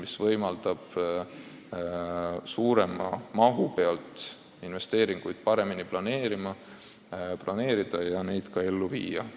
See võimaldab suurema mahu toel investeeringuid paremini planeerida ja neid ka ellu viia.